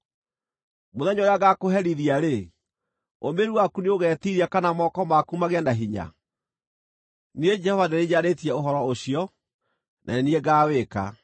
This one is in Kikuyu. Mũthenya ũrĩa ngaakũherithia-rĩ ũmĩrĩru waku nĩũgetiiria, kana moko maku magĩe na hinya? Niĩ Jehova nĩ niĩ njarĩtie ũhoro ũcio, na nĩ niĩ ngaawĩka.